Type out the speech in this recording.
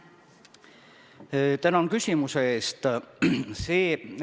Tänan küsimuse eest!